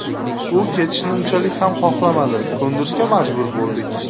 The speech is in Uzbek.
U ketishni unchalik ham xohlamadi, ko‘ndirishga majbur bo‘ldik.